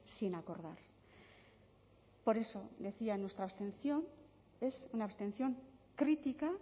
sin acordar por eso decía nuestra abstención es una abstención crítica